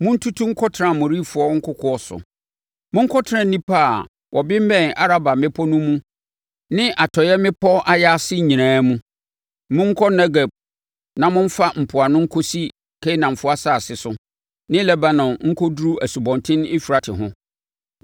Montutu nkɔtena Amorifoɔ nkokoɔ so; monkɔtena nnipa a wɔbemmɛn Araba mmepɔ no mu ne atɔeɛ mmepɔ ayaase nyinaa mu; monkɔ Negeb na momfa mpoano nkɔsi Kanaanfoɔ asase so ne Lebanon nkɔduru Asubɔnten Eufrate ho.